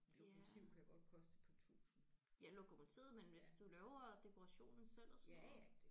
Ja. Ja lokomotivet men hvis du laver dekorationen selv og sådan noget